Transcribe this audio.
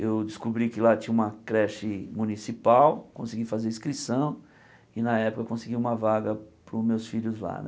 Eu descobri que lá tinha uma creche municipal, consegui fazer a inscrição e, na época, consegui uma vaga para os meus filhos lá né.